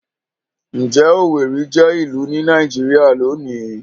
Ǹjẹ́ Owerri jẹ́ ìlú ní Nàìjíríà lónìí?